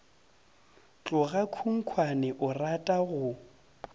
tloga khunkhwane o rata go